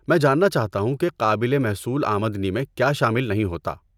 میں جاننا چاہتا ہوں کہ قابل محصول آمدنی میں کیا شامل نہیں ہوتا۔